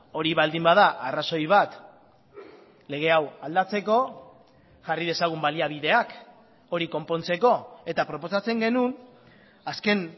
hori baldin bada arrazoi bat lege hau aldatzeko jarri dezagun baliabideak hori konpontzeko eta proposatzen genuen azken